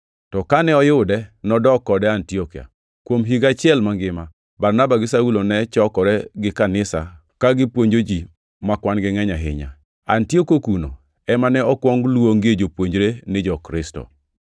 to kane oyude, nodok kode Antiokia. Kuom higa achiel mangima, Barnaba gi Saulo ne chokore gi kanisa ka gipuonjo ji ma kwan-gi ngʼeny ahinya. Antiokia kuno ema ne okuong luongoe jopuonjre ni jo-Kristo.